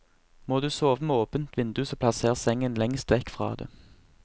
Må du sove med åpent vindu, så plasser sengen lengst vekk fra det.